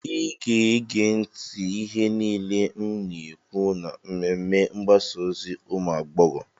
ị ga-ege ntị ihe niile m na-ekwu na mmemme mgbasa ozi ụmụ agbọghọ